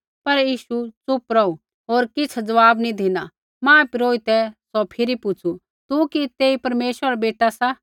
पर यीशु च़ुप रौहू होर किछ़ ज़वाब नी धिना महापुरोहितै सौ फिरी पुछ़ू तू कि तेई परमेश्वरा रा बेटा मसीह सा